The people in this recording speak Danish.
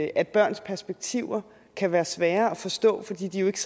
at børns perspektiver kan være svære at forstå fordi de ikke